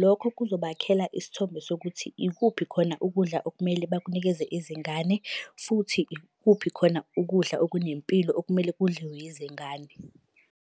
lokho kuzobakhela isithombe sokuthi ikuphi khona ukudla okumele bakunikeze izingane, futhi ikuphi khona ukudla okunempilo okumele kudliwe izingane.